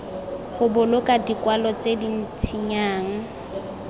go boloka dikwalo tse dintsinyana